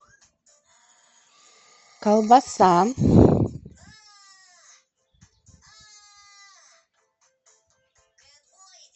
колбаса